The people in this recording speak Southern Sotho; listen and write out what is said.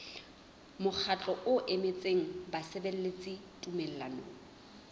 mokgatlo o emetseng basebeletsi tumellanong